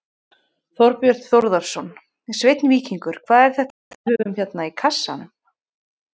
Þorbjörn Þórðarson: Sveinn Víkingur, hvað er þetta sem við höfum hérna í kassanum?